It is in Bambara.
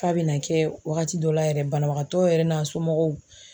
F'a bɛna kɛ wagati dɔ la yɛrɛ banabagatɔ yɛrɛ n'a somɔgɔw